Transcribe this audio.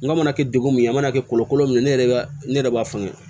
N ka mana kɛ degun mun ye a mana kɛ kɔlɔ min ye ne yɛrɛ ne yɛrɛ b'a fɔ n ye